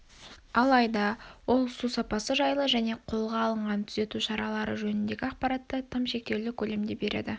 алайда ол су сапасы жайлы және қолға алынған түзету шаралары жөніндегі ақпаратты тым шектеулі көлемде береді